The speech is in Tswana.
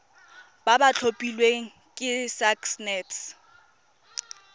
ba ba tlhophilweng ke sacnasp